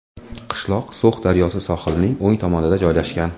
Qishloq So‘x daryosi sohilining o‘ng tomonida joylashgan.